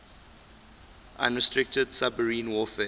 unrestricted submarine warfare